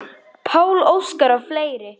Pál Óskar og fleiri.